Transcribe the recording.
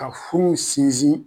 Ka furuw sinsin